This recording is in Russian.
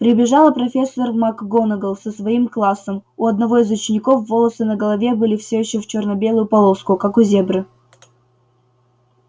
прибежала профессор макгонагалл со своим классом у одного из учеников волосы на голове были все ещё в чёрно-белую полоску как у зебры